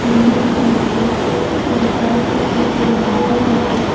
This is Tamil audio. பெரிய சிலுவ இருக்கு ஒரு கரண்ட் போஸ்ட்டு இருக்கு ரெண்டு மரம் இருக்கு.